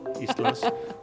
Íslands